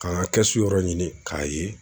Ka ŋa kɛsu yɔrɔ ɲini k'a ye